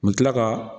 U bɛ tila ka